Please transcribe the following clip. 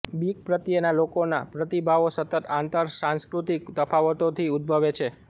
બીક પ્રત્યેના લોકોના પ્રતિભાવો સતત આંતરસાંસ્કૃતિક તફાવતોથી ઉદ્દભવે છે